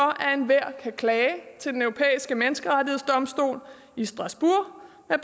enhver kan klage til den europæiske menneskerettighedsdomstol i strasbourg med